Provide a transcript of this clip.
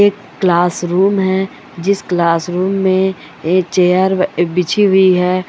एक क्लासरूम है जिस क्लासरूम में एक चेयर बिछी हुई है।